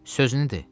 Sözünü de.